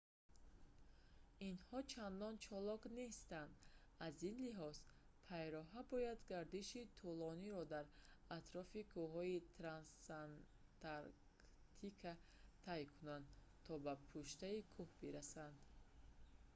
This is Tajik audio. инҳо чандон чолок нестанд аз ин лиҳоз пайроҳа бояд гардиши тӯлониро дар атрофи кӯҳҳои трансантарктика тай кунад то ба пуштаи кӯҳ бирасад